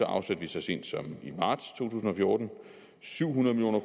afsatte vi så sent som i marts to tusind og fjorten syv hundrede million